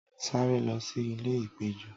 saré lo sí ìlè ipejo